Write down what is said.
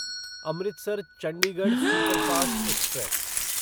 Amritsar Chandigarh superfast express